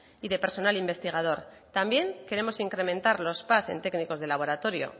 y de personal investigador también queremos incrementar los pas en técnicos de laboratorio